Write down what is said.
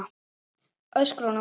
öskraði hún á móti.